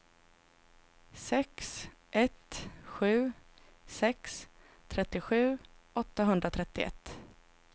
sex ett sju sex trettiosju åttahundratrettioett